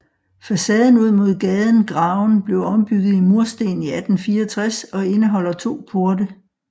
Facaden ud mod gaden Graven blev ombygget i mursten i 1864 og indeholder to porte